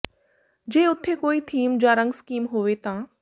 ਜੇ ਉਥੇ ਕੋਈ ਥੀਮ ਜਾਂ ਰੰਗ ਸਕੀਮ ਹੋਵੇ ਤਾਂ